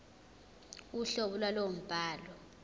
uhlobo lwalowo mbhalo